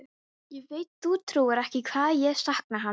Ég veit þú trúir ekki hvað ég sakna hans.